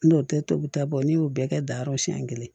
N'o tɛ tobita bɔ n'i y'o bɛɛ kɛ dayɔrɔ siɲɛ kelen